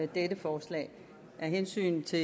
dette forslag af hensyn til